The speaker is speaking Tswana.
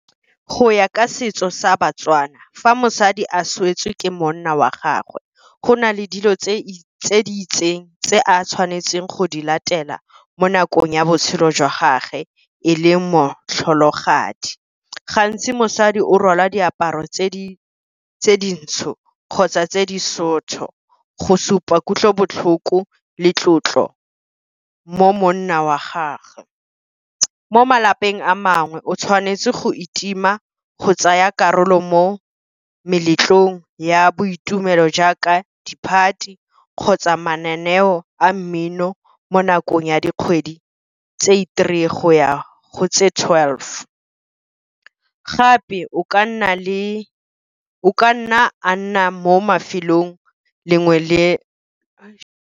Go ya ka setso sa ba-Tswana fa mosadi a swetse ke monna wa gagwe, go na le dilo tse di itseng tse a tshwanetseng go di latela mo nakong ya botshelo jwa gage e le motlholagadi. Gantsi mosadi o rwala diaparo tse dintsho kgotsa tse di , go supa kutlobotlhoko le tlotlo mo monna wa gagwe. Mo malapeng a mangwe o tshwanetse go itima go tsaya karolo mo meletlong ya boitumelo jaaka di-party, kgotsa mananeo a mmino mo nakong ya dikgwedi tse i-three go ya go tse twelve. Gape o ka nna a nna mo mafelong lengwe le.